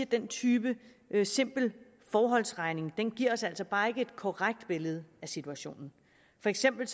den type simpel forholdsregning altså bare ikke et korrekt billede af situationen for eksempel